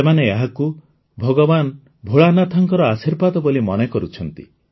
ସେମାନେ ଏହାକୁ ଭଗବାନ ଭୋଳାନାଥଙ୍କ ଆଶୀର୍ବାଦ ବୋଲି ମନେ କରୁଛନ୍ତି